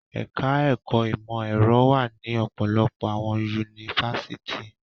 Ẹ̀ka-ẹ̀kọ́ ìmọ̀-ẹ̀rọ wà ní ọ̀pọ̀lọpọ̀ àwọn yunifásitì.